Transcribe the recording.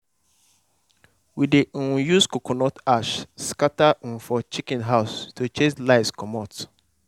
we dey um use coconut ash scatter um for chicken house to chase lice comot.